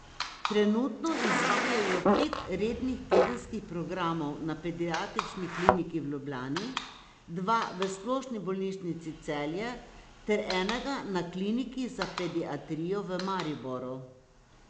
Trenutno izvajajo pet rednih tedenskih programov na Pediatrični kliniki v Ljubljani, dva v Splošni bolnišnici Celje ter enega na Kliniki za pediatrijo v Mariboru.